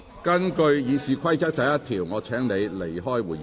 根據《議事規則》第1條，我請你離開會議廳。